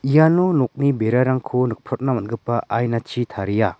iano nokni berarangko nikprotna man·gipa ainachi taria.